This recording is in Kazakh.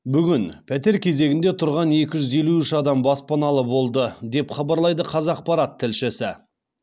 бүгін пәтер кезегінде тұрған екі жүз елу үш адам баспаналы болды деп хабарлайды қазақпарат тілшісі